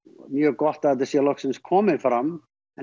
mjög gott að þetta sé loksins komið fram en